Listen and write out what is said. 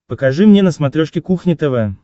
покажи мне на смотрешке кухня тв